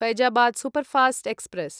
Faizabad superfast express